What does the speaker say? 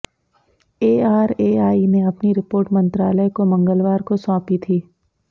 ARAI ने अपनी report मंत्रालय को मंगलवार को सौंपी थी